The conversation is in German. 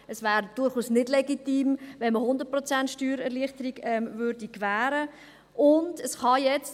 Es wäre also durchaus nicht legitim, wenn man 100 Prozent Steuererleichterung gewähren würde.